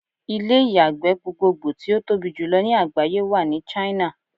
Ilé ìyàgbẹ́ gbogbogbò tí ó tobí jùlọ ní àgbáyé wà ní China.